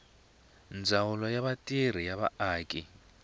ndzawulo ya mintirho ya vaaki